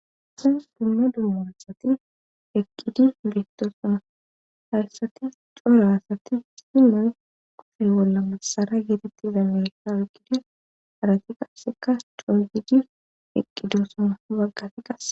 Sa dumma dummaasati eqqidi listosona hayssati couraasati simoy kofe bolla masara geetetti damessa oyqqidi arati qasseka coozidi eqqidosona waggafi qas.